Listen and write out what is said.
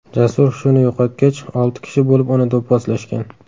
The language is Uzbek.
Jasur hushini yo‘qotgach, olti kishi bo‘lib uni do‘pposlashgan .